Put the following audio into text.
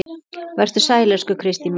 Vertu sæl, elsku Kristín mín.